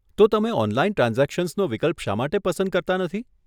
તો તમે ઓનલાઈન ટ્રાન્ઝેક્શન્સનો વિકલ્પ શા માટે પસંદ કરતા નથી?